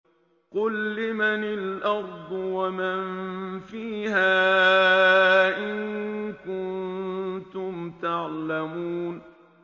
قُل لِّمَنِ الْأَرْضُ وَمَن فِيهَا إِن كُنتُمْ تَعْلَمُونَ